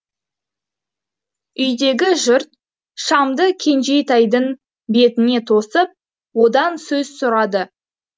үйдегі жұрт шамды кенжетайдың бетіне тосып одан сөз сұрады